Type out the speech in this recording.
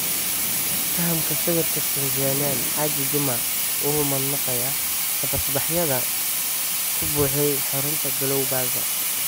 Fahamka sawirka, Tanzanianka Haji Juma, wuu u mahadnaqayaa tabasbaxyada ku buuxday xarunta Glown Plaza.